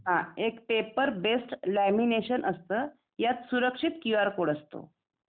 एक paper base lamination असता त्यात सुरक्षित क्यू आर कोड असतो